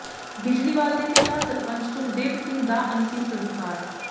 ਬਿਜਲੀਵਾਲ ਦੇ ਪਿਤਾ ਸਰਪੰਚ ਸੁਖਦੇਵ ਸਿੰਘ ਦਾ ਅੰਤਿਮ ਸੰਸਕਾਰ